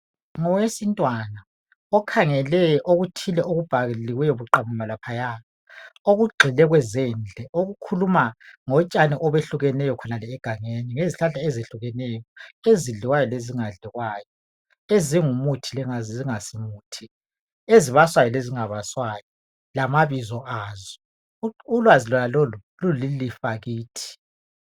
Ngowesintwana okhangele okuthile okubhaliweyo buqamama laphaya okugxile kwezendle okukhuluma ngotshani obehlukeneyo khonale egangeni, ngezihlahla ezehlukeneyo ezidliwayo lezingadliwayo, ezingumuthi lezingasimuthi, ezibaswayo lezingabaswayo lamabizo azo. Ulwazi lonalolu lulilifa kithi.